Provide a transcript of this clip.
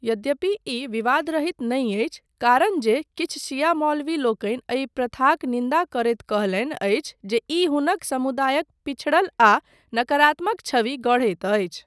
यद्यपि ई विवादरहित नहि अछि कारण जे किछु शिया मौलवी लोकनि एहि प्रथाक निन्दा करैत कहलनि अछि जे ई हुनक समुदायक पिछड़ल आ नकारात्मक छवि गढ़ैत अछि।